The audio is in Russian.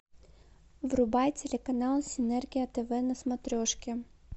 врубай телеканал синергия тв на смотрешке